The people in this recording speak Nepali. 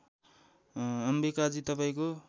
अम्बिकाजी तपाईँको